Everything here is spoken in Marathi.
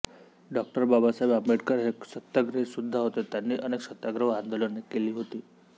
डॉ बाबासाहेब आंबेडकर हे एक सत्याग्रही सुद्धा होते त्यांनी अनेक सत्याग्रह व आंदोलने केली होती